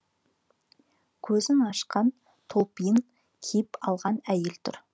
көзін ашқан топлиын киіп алған әйел тұр